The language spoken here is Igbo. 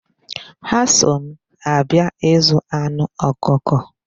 Ha so m abia ịzụ anụ ọkụkọ.